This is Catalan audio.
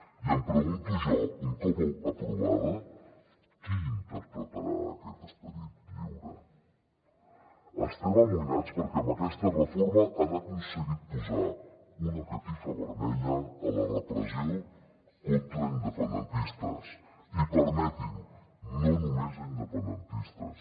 i em pregunto jo un cop aprovada qui interpretarà aquest esperit lliure estem amoïnats perquè amb aquesta reforma han aconseguit posar una catifa vermella a la repressió contra independentistes i permeti’m no només a independentistes